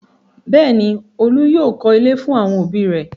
bẹ́ẹ̀ni, Olú yóò kọ́ ilé fún àwọn ẹbí rẹ̀.